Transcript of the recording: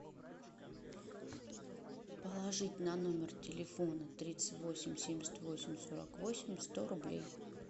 положить на номер телефона тридцать восемь семьдесят восемь сорок восемь сто рублей